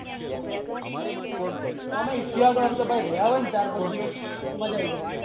અમે ઇત્યા ગયા એ પણ અમે રેહ્યા હોય ચાર પાંચ દિવસ તો મજા આયી જાય